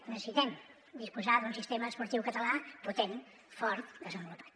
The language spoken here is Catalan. necessitem disposar d’un sistema esportiu català potent fort desenvolupat